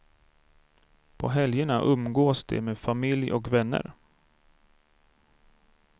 På helgerna umgås de med familj och vänner.